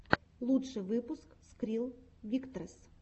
лучший выпуск скрилл виктресс